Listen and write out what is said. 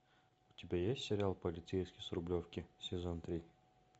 у тебя есть сериал полицейский с рублевки сезон три